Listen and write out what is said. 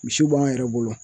Misi b'an yɛrɛ bolo